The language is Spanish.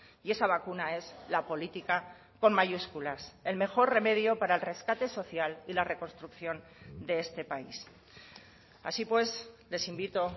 y esa vacuna es la política con mayúsculas el mejor remedio para el rescate social y la reconstrucción de este país así pues les invito